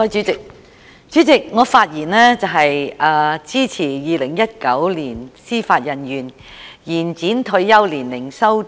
主席，我發言支持《2019年司法人員條例草案》。